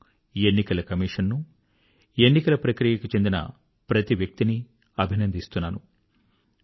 నేను ఎన్నికల కమిషన్ ను ఎన్నికల ప్రక్రియకు చెందిన ప్రతి వ్యక్తినీ అభినందిస్తున్నాను